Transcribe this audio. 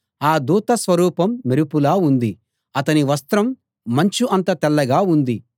ఆ దూత స్వరూపం మెరుపులా ఉంది అతని వస్త్రం మంచు అంత తెల్లగా ఉంది